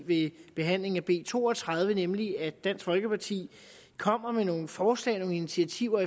ved behandlingen af b to og tredive nemlig at dansk folkeparti kommer med nogle forslag og nogle initiativer